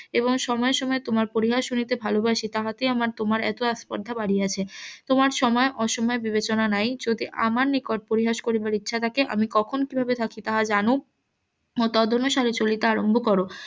এবং সময় সময় তোমার পরিহাস শুনিতে ভালোবাসি তাহাতে আমার তোমার এত আস্পর্ধা বাড়িয়াছে তোমার সময় অসময় বিবেচনা নাই যদি আমার নিকট পরিহাস করিবার ইচ্ছা থাকে আমি কখন কিভাবে থাকি তাহা জানুক ও তদঅনুসারে চলিতে আরম্ভ করো